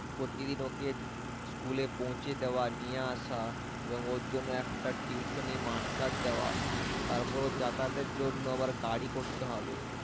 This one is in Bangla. প্রতিদিন ওকে school এ পৌঁছে দেওয়া নিয়ে আসা এবং ওর জন্য একটা tuition master দেওয়া তারপরে ওর যাতায়াতের জন্য আবার গাড়ি করতে হবে